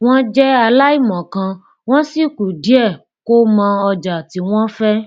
wọn jẹ aláìmọkan wọn sì kù díẹ kó mọ ọjà tí wọn fẹ